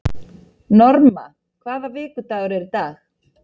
Norma, hvaða vikudagur er í dag?